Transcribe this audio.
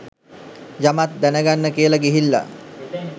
යමක් දැනගන්න කියලා ගිහිල්ල.